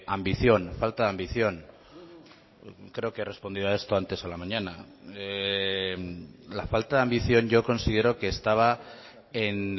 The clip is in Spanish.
ambición falta de ambición creo que he respondido a esto antes a la mañana la falta de ambición yo considero que estaba en